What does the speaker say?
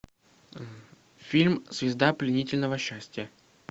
фильм звезда пленительного счастья